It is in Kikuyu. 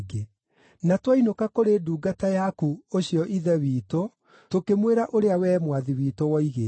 Na twainũka kũrĩ ndungata yaku ũcio ithe witũ, tũkĩmwĩra ũrĩa wee mwathi witũ woigĩte.